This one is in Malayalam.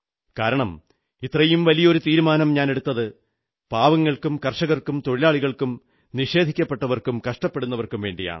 കാരണം ഇത്രയും വലിയ ഒരു തീരുമാനം ഞാനെടുത്തത് പാവങ്ങൾക്കും കർഷകർക്കും തൊഴിലാളികൾക്കും അവസരം നിഷേധിക്കപ്പെട്ടവർക്കും കഷ്ടപ്പെടുന്നവർക്കും വേണ്ടിയാണ്